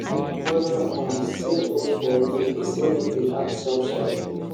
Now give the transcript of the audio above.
my brother um see hole for leaf e say make we act sharpsharp